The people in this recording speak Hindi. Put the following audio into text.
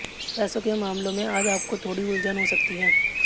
पैसों के मामलों में आज आपको थोड़ी उलझन हो सकती है